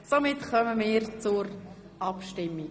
Wir kommen zur Abstimmung.